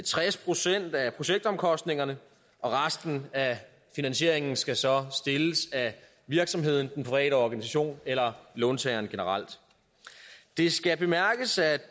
tres procent af projektomkostningerne resten af finansieringen skal så stilles af virksomheden den private organisation eller låntageren generelt det skal bemærkes at